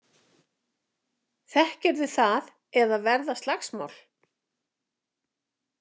Þekkirðu það, eða verða slagsmál?